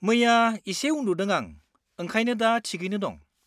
मैया एसे उनदुदों आं, ओंखायनो दा थिगैनो दं।